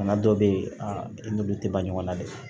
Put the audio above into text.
Bana dɔ bɛ yen a i n'olu tɛ ban ɲɔgɔnna de